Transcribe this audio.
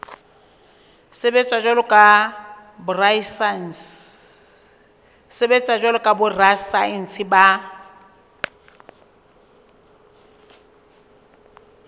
sebetsa jwalo ka borasaense ba